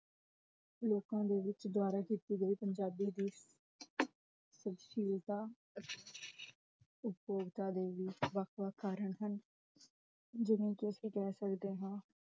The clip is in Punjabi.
ਲੋਕਾਂ ਦੇ ਵਿਚ ਦਵਾਰਾ ਕੀਤੀ ਗਈ ਪੰਜਾਬੀ ਦੀ ਸ਼ੀਲਤਾ, ਉਪੋਕਤਾ ਦੇ ਵੀ ਵਖ-ਵਖ ਕਾਰਣ ਹਨ, ਜਿਵੇਂ ਕਿ ਅਸੀਂ ਕਹ ਸਕਦੇ ਹਾਂ